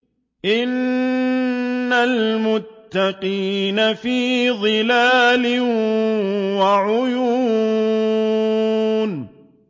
إِنَّ الْمُتَّقِينَ فِي ظِلَالٍ وَعُيُونٍ